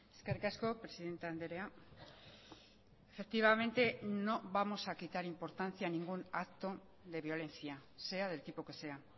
eskerrik asko presidente andrea efectivamente no vamos a quitar importancia a ningún acto de violencia sea del tipo que sea